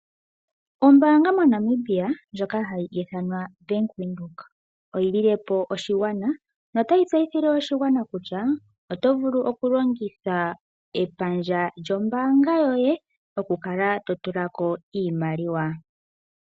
Ombaanga yo Bank Windhoek otayi tseyithile oshigwana kutya oto vulu oku longitha epandja lyombaanga yoye oku kala to tula ko iimaliwa.